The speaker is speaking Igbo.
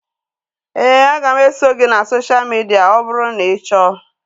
Éè, a ga m eso gị na sosha midia ọ bụrụ na ị chọọ